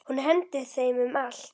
Hún hendir þeim um allt.